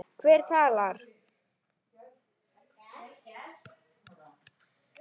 Hver talar?